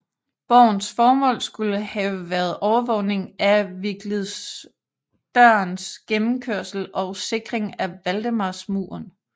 Borgens formål skulle have været overvågning af Viglidsdørens gennemkørsel og sikring af Valdemarsmuren